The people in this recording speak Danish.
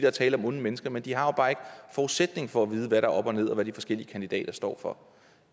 er tale om onde mennesker men de har bare ikke forudsætningen for at vide hvad der er op og ned og hvad de forskellige kandidater står for